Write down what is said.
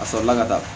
A sɔrɔla ka taa